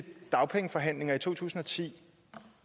dagpengeforhandlinger i to tusind og ti